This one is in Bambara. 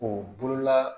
O bolola